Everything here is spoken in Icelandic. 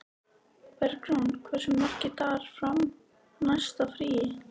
Bergrún, hversu margir dagar fram að næsta fríi?